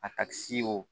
A ka si wo